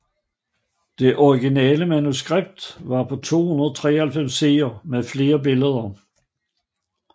Det originale manuskript var på 293 sider med flere billeder